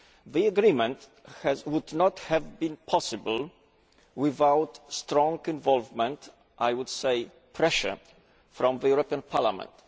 The agreement would not have been possible without the strong involvement I would say pressure from Parliament.